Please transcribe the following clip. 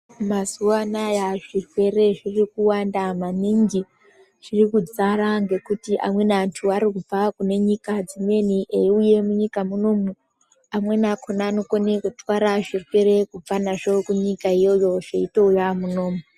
Mazuwa anaya zvirwere zvirikuwanda maningi, zvirikudzara ngekuti amweni antu anobva kune nyika dzimweni eiuye munyika munomu amweni akona anokone kutotwara zvirwere kubva nazvo kunyika iyiyo zveitouya munomu.